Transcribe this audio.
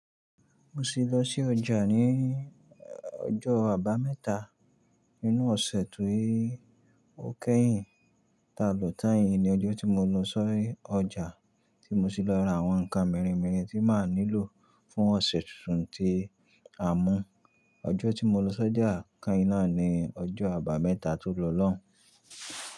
Mo sì lọ sí ọjà ní ọjọ́ Àbámẹ́ta nínú ọ̀sẹ̀ ti o kéyìn. Ta lòtáyàn ní ọjọ́ tí mo lọ sí ọjà tí mo sì lọ ra àwọn ǹkan mirin mirin tí máa nílò fún ọ̀sẹ̀ tuntun tí a mú. Ọjọ́ tí mo lọ sọ́jà kain náà ni ọjọ́ Àbámẹ́ta tó lọ lọ́un.